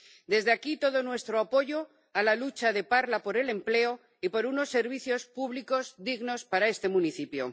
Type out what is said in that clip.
Desde aquí, todo nuestro apoyo a la lucha de Parla por el empleo y por unos servicios públicos dignos para este municipio.